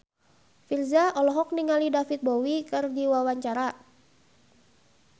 Virzha olohok ningali David Bowie keur diwawancara